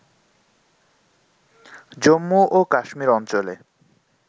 জম্মু ও কাশ্মির অঞ্চলে